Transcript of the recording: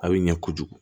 A bɛ ɲɛ kojugu